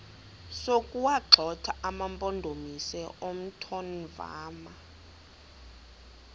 sokuwagxotha amampondomise omthonvama